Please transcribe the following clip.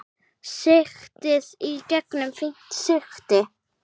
Sigtið í gegnum fínt sigti.